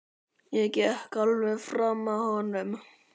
Ég gekk alveg fram af honum.